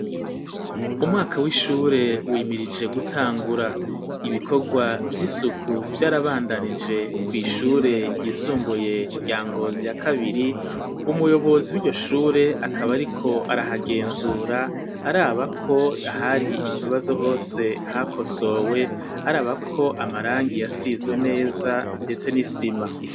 Umwaka w'ishure wimirije gutangura ibikorwa vy'isuku vyarabandanije ku ishure ryisumbuye rya Ngozi ya kabiri umuyobozi wiryo shure akaba ariko arahagenzura araba ko ahari ikibazo hose hakosowe araba ko amarangi yasizwe neza ndetse n'isima